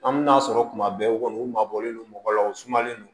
An bɛ n'a sɔrɔ kuma bɛɛ u kɔni u mabɔlen don mɔgɔ la u sumalen no